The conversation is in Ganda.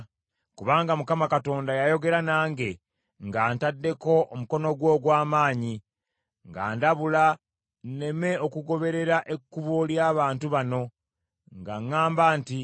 Kubanga Mukama Katonda yayogera nange ng’antaddeko omukono gwe ogw’amaanyi, ng’andabula nneme okugoberera ekkubo ly’abantu bano, ng’aŋŋamba nti,